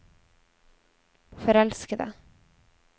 forelskede